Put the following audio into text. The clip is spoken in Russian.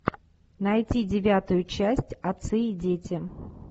найти девятую часть отцы и дети